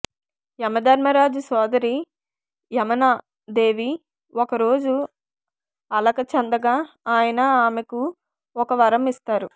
యమధర్మరాజు సోదరి యమనా దేవి ఒక రోజు అలక చెందగా ఆయన ఆమెకు ఒక వరం ఇస్తారు